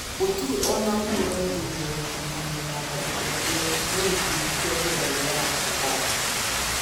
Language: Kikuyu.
gũtĩre ona ũmwe ũraũmbũrĩre gũkũrũhanĩo na tharĩkĩra ĩyo no gĩkũndĩ kĩa bĩrarũ ya al-shabab